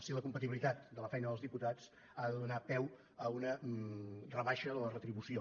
si la compatibilitat de la feina dels diputats ha de donar peu a una rebaixa de la retribució